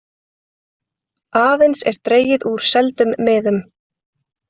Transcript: Aðeins er dregið úr seldum miðum